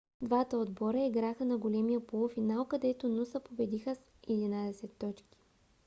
двата отбора играха на големия полуфинал където нуса победиха с 11 точки